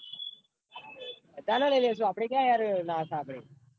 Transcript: બધા ને લઇ લૈશુય આપડ ક્યાં યાર ના સાંભળી યાર